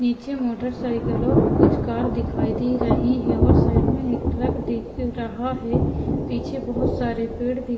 नीचे मोटरसाइकिल और कुछ कार दिखाई दे रही हैं और साइड में एक ट्रक दिख रहा है पीछे बहुत सारे पेड़ दिख --